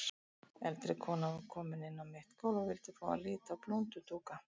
Eldri kona var komin inn á mitt gólf og vildi fá að líta á blúndudúka.